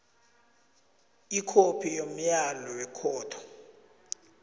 ikhophi yomyalo wekhotho